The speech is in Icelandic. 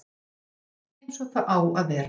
Allt eins og það á að vera